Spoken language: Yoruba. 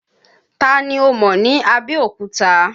Ta ni ó mọ̀ ní Abẹ́òkúta?